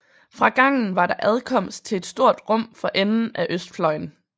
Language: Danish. Fra gangen var der adkomst til et stort rum for enden af østfløjen